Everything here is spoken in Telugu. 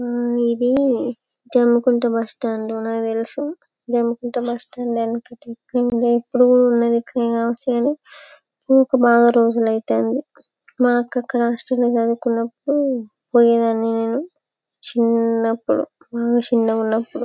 ఆ ఇది జమ్మికుంట బస్టాండ్ అని నాకు తెలుసు. జమ్మికుంట బస్టాండ్ వెనక మా అక్క హాస్టల్ లో చదువుకున్నప్పుడు పోయేదాన్ని నేను. చిన్నప్పుడు బాగా చిన్నగా ఉన్నప్పుడు.